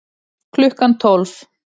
Klukkan tólf